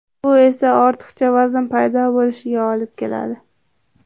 Bu esa ortiqcha vazn paydo bo‘lishiga olib keladi.